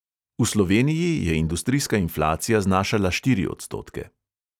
V sloveniji je industrijska inflacija znašala štiri odstotke.